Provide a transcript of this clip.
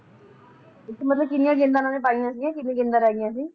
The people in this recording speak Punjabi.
ਓਥੇ ਮਤਲਬ ਕਿੰਨੀਆਂ ਗੈਂਦਾਂ ਇਨ੍ਹਾਂ ਨੇ ਪਾਈਆ ਕਿੰਨੀਆਂ ਰਹੀ ਗਿਆਂ ਸੀ